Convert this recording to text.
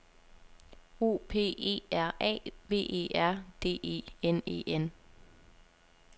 O P E R A V E R D E N E N